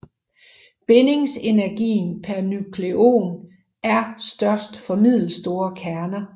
Bindingsenergien per nukleon er størst for middelstore kerner